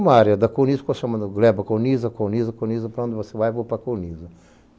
Uma área da Colniza ficou chamando, leva a Colniza, Colniza, Colniza, para onde você vai, vou para a Colniza.